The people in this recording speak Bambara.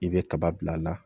I bɛ kaba bil'a la